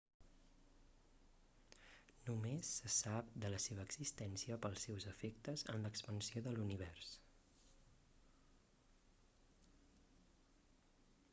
només se sap de la seva existència pels seus efectes en l'expansió de l'univers